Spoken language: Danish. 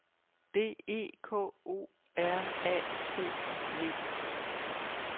D E K O R A T I V